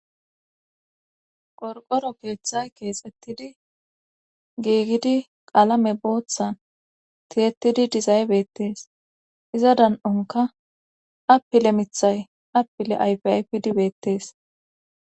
Qorqoro keeththay keexxettidi geegidi qalame booththan tiyettidi dizaybeettees iza dan'onka appile mithay appile ayfiaypidibeettees